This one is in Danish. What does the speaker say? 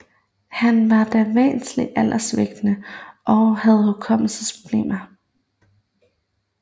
Han var da væsentligt alderssvækket og havde hukommelsesproblemer